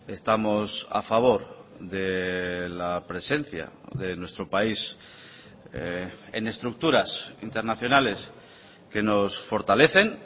estamos a favor de la presencia de nuestro país en estructuras internacionales que nos fortalecen